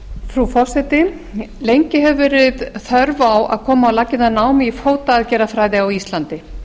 frú forseti lengi hefur verið þörf á að koma á laggirnar námi í fótaaðgerðafræði á íslandi